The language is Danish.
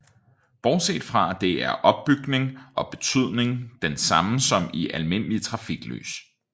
Bortset fra det er opbygning og betydning den samme som i almindelige trafiklys